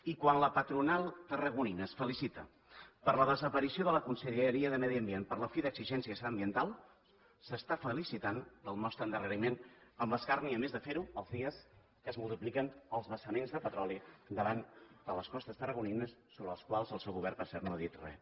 i quan la patronal tarragonina es felicita per la desaparició de la conselleria de medi ambient per la fi d’exigències ambientals s’està felicitant pel nostre endarreriment amb l’escarni a més de fer ho els dies que es multipliquen els vessaments de petroli davant de les costes tarragonines sobre els quals el seu govern per cert no ha dit res